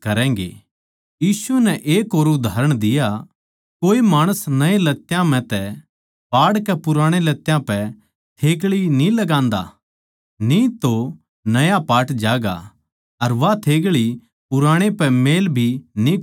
यीशु नै एक और कहावत कही कोए माणस नये लत्यां म्ह तै पाड़कै पुराणे लत्यां पै थेग्ळी न्ही लगान्दा न्ही तो नया पाट ज्यागा अर वा थेग्ळी पुराणे पै मेळ भी न्ही खावैगी